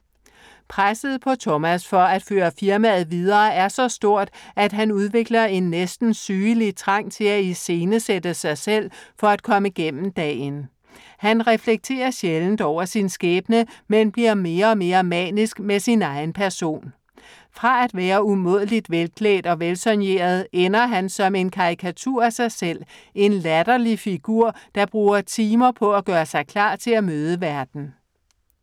Presset på Thomas, for at føre firmaet videre, er så stort, at han udvikler en næsten sygelig trang til at iscenesætte sig selv for at komme gennem dagen. Han reflekterer sjældent over sin skæbne, men bliver mere og mere manisk med sin egen person. Fra at være umådeligt velklædt og velsoigneret, ender han som en karikatur af sig selv, en latterlig figur, der bruger timer på at gøre sig klar til at møde verden.